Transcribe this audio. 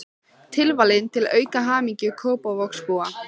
Tilvalinn til að auka hamingju Kópavogsbúa.